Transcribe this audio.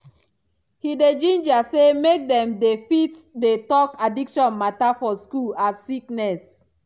he dey ginger say make dem dey fit dey talk addiction matter for school as sickness.